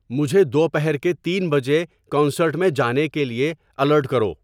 مجھے دوپہر کے تین بجے کنسرٹ میں جانے کے لیے الارٹ کرو